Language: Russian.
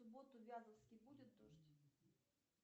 в субботу в вязовске будет дождь